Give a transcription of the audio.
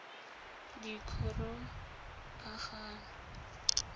dikgorokagano